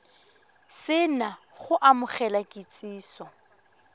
se na go amogela kitsiso